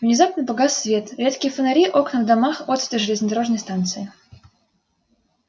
внезапно погас свет редкие фонари окна в домах отсветы железнодорожной станции